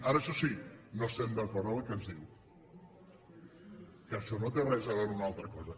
ara això sí no estem d’acord amb el que ens diu que això no té res a veure amb una altra cosa